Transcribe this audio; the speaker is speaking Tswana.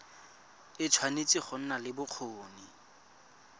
tshwanetse go nna le bokgoni